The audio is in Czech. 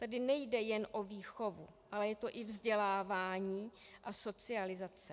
Tady nejde jen o výchovu, ale je to i vzdělávání a socializace.